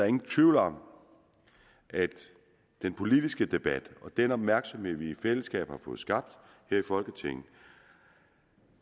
ingen tvivl om at den politiske debat og den opmærksomhed vi i fællesskab har fået skabt her i folketinget